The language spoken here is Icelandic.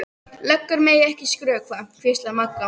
Löggur mega ekki skrökva, hvíslaði Magga.